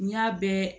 N y'a bɛɛ